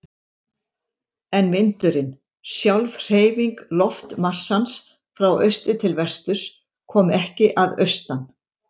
En vindurinn, sjálf hreyfing loftmassans frá austri til vesturs, kom ekki að austan.